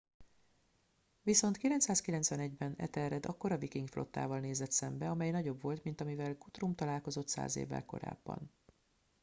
viszont 991 ben ethelred akkora viking flottával nézett szembe amely nagyobb volt mint amivel guthrum találkozott száz évvel korábban